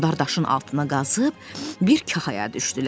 Onlar daşın altına qazıb bir kahaya düşdülər.